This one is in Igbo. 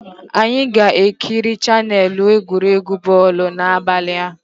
Anyị ga-ekiri chaneelụ egwuregwu bọl n'abalị a